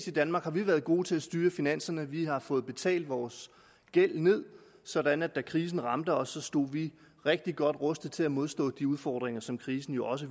i danmark været gode til at styre finanserne vi har fået betalt vores gæld ned sådan at vi da krisen ramte os stod rigtig godt rustet til at modstå de udfordringer som krisen jo også